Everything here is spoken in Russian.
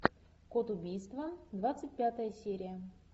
код убийства двадцать пятая серия